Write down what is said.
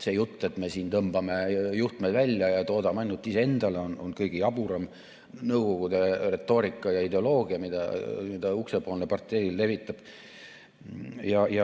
See jutt, et me tõmbame juhtme välja ja toodame ainult iseendale, on kõige jaburam nõukogude retoorika ja ideoloogia, mida uksepoolne partei levitab.